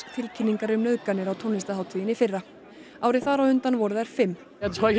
tilkynningar um nauðganir á tónlistarhátíðinni í fyrra árið þar á undan voru þær fimm